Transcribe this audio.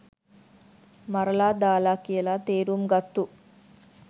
මරලා දාල කියලා තේරුම් ගත්තු